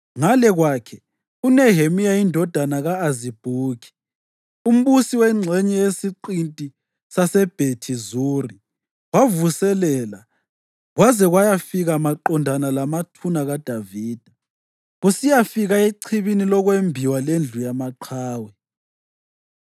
Ngale kwakhe, uNehemiya indodana ka-Azibhuki, umbusi wengxenye yesiqinti saseBhethi Zuri wavuselela kwaze kwayafika maqondana lamathuna kaDavida, kusiyafika echibini lokwembiwa leNdlu yaMaqhawe.